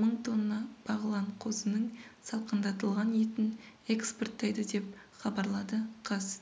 мың тонна бағлан қозының салқындатылған етін экспорттайды деп хабарлады қаз